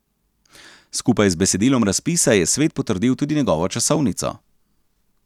Skupaj z besedilom razpisa je svet potrdil tudi njegovo časovnico.